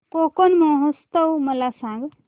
कोकण महोत्सव मला सांग